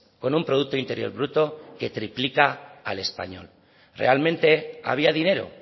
con un producto interior bruto que triplica al español realmente había dinero